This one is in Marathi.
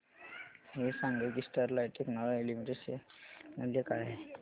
हे सांगा की स्टरलाइट टेक्नोलॉजीज लिमिटेड चे शेअर मूल्य काय आहे